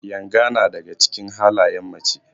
Yanga na daga cikin halayen mace.